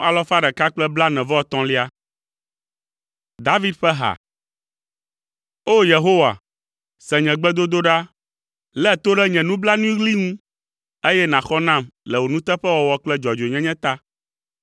David ƒe ha. O! Yehowa, se nye gbedodoɖa, lé to ɖe nye nublanuiɣli ŋu, eye nàxɔ nam le wò nuteƒewɔwɔ kple dzɔdzɔenyenye ta.